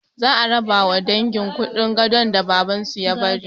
Za a rabawa dangin kuɗin gadon da babansu ya bari